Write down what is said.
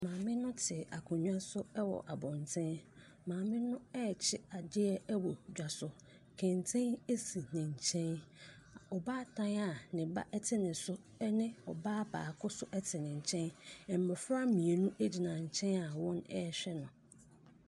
Maame no ɛte akonnwa so ɛwɔ abɔnten. Maame no ɛrekye adeɛ ɛwɔ dwa so. Kɛntɛn asi ne nkyɛn. Ɔbaatan a ne ba te ne so ɛne ɔbaa baako so ɛte ne nkyɛn. Mmɔfra mmienu nso agyina nkyɛn wɔrehwɛ no.